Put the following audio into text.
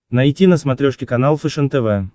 найти на смотрешке канал фэшен тв